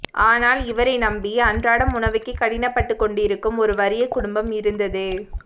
ஆனால் இவரை நம்பி அன்றாடம் உணவுக்கே கடினப் பட்டுக் கொண்டிருக்கும் ஒரு வறிய குடும்பம் இருந்தது